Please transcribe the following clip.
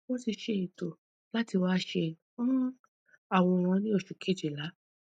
won ti se eto lati wa se um aworan ni osu kejila